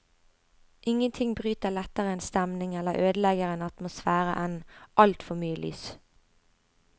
Ingenting bryter lettere en stemning eller ødelegger en atmosfære enn alt for mye lys.